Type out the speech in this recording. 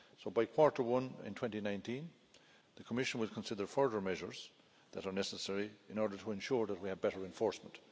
So, by the first quarter in 2019, the Commission will consider further measures that are necessary in order to ensure that we have better enforcement.